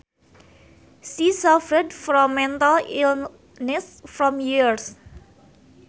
She suffered from mental illness for years